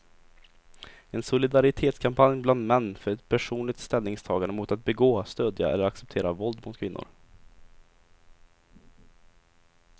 En solidaritetskampanj bland män för ett personligt ställningstagande mot att begå, stödja eller acceptera våld mot kvinnor.